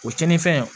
O cɛnin fɛn